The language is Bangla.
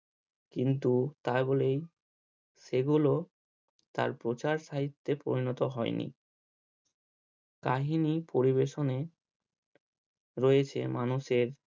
কিন্তু তার বলেই এগুলো তার প্রচার সাহিত্যে পরিণত হয়নি। কাহিনী পরিবেশনে রয়েছে মানুষের